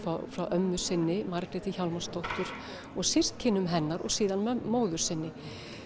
frá ömmu sinni Margréti Hjálmarsdóttur og systkinum hennar og svo móður sinni